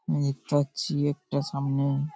আমি দেখতে পাচ্ছি একটা সামনে --